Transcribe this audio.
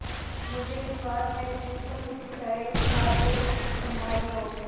मुझे विश्वास है कि तुम उसी तरह इस भार को सँभाले रहोगे